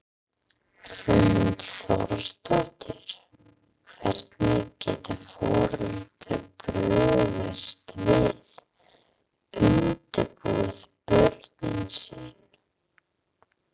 Hrund Þórsdóttir: Hvernig geta foreldrar brugðist við, undirbúið börnin sín?